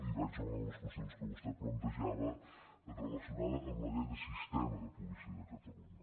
i vaig a una de les qüestions que vostè plantejava relacionada amb la llei del sistema de policia de catalunya